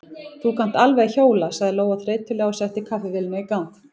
Þú kannt alveg að hjóla, sagði Lóa þreytulega og setti kaffivélina í gang.